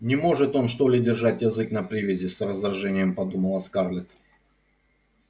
не может он что ли держать язык на привязи с раздражением подумала скарлетт